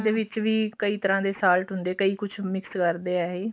ਦੇ ਵਿੱਚ ਵੀ ਕਈ ਤਰ੍ਹਾਂ ਦੇ salt ਹੁੰਦੇ ਕਈ ਕੁਛ mix ਕਰਦੇ ਆ ਇਹ